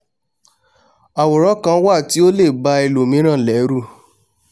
àwòrán kan wà tí ó lè ba ẹlòmíràn lẹ́rù